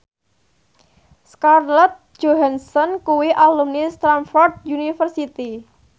Scarlett Johansson kuwi alumni Stamford University